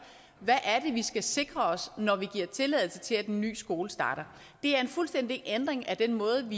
hvad det vi skal sikre os når vi giver tilladelse til at en ny skole starter det er en fuldstændig ændring af den måde